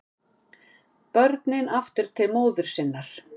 Börnin aftur til móður sinnar